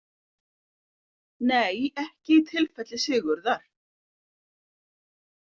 Nei ekki í tilfelli Sigurðar.